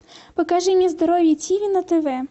покажи мне здоровье тиви на тв